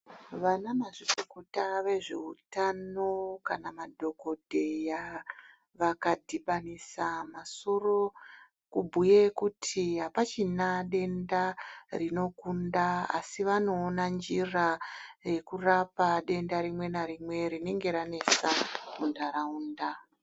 Vana mazvikokota vezvehutano kana madhogodheya vakadhibanisa masoro kubhuye kuti hapachina denda rinokunda, asi vanowona njira yekurapa denda rimwe narimwe rinenge ranetsa muntaraunda.